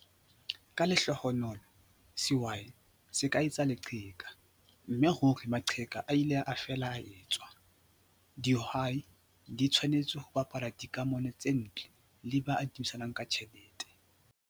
Ka lehlohonolo, sehwai se ka etsa leqheka, mme ruri maqheka a ile a fela a etswa! Dihwai di tshwanetse ho baballa dikamano tse ntle le ba adimisanang ka ditjhelete.